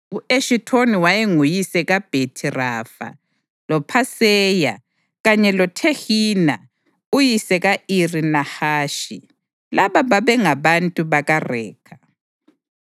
U-Eshithoni wayenguyise kaBhethi-Rafa, loPhaseya kanye loThehina uyise ka-Iri Nahashi. Laba babengabantu bakaRekha.